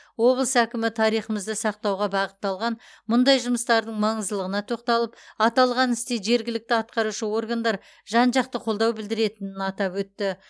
облыс әкімі тарихымызды сақтауға бағытталған мұндай жұмыстардың маңыздылығына тоқталып аталған істе жергілікті атқарушы органдар жан жақты қолдау білдіретінін атап өтті